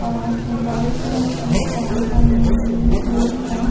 और white colour की pant पहने हुए हुई है।